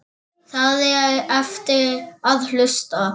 Það á eftir að hlusta.